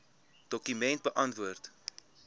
dokument beantwoord